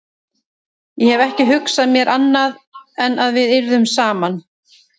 Ég hef ekki hugsað mér annað en að við yrðum saman.